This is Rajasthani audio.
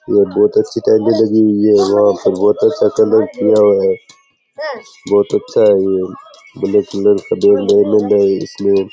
बहुत अच्छी टॉइले लगी हुई है वहां पे बहुत अच्छा कलर किया हुआ है बहुत अच्छा है वो सुंदर सुंदर --